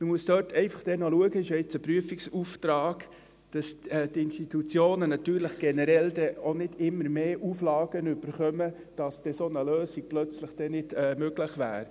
Man muss dann einfach noch schauen – es ist ja jetzt ein Prüfungsauftrag –, dass die Institutionen dort natürlich generell auch nicht immer mehr Auflagen erhalten, sodass eine solche Lösung dann plötzlich nicht möglich wäre.